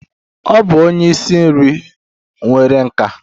Ọ bụ onye isi nri nwere nkà.